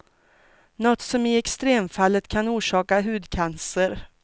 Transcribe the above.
Något som i extremfallet kan orsaka hudcancer.